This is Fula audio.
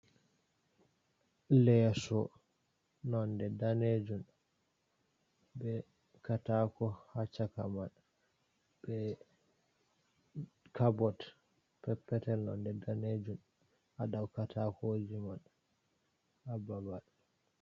Leso nonde danejum, be katako ha chaka man, be cabot peppetel nonde danejun adau katakoji man ababal.